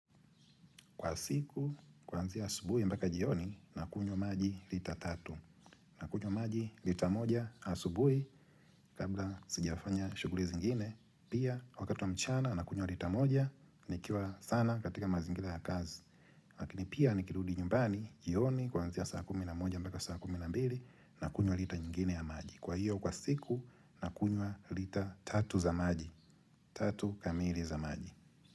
Kwa siku, kwanzia asubui mbaka jioni nakunyo maji lita tatu. Na kunyo maji lita moja asubui kabla sijafanya shuguli zingine. Pia, wakati wa mchana nakunyo lita moja nikiwa sana katika mazingila ya kazi. Lakini pia nikirudi nyumbani jioni kwanzia saa kumi na moja mbaka saa kumi na mbili na kunyo lita nyingine ya maji. Kwa hiyo, kwa ziku nakunyo lita tatu za maji. Tatu kamiri za maji.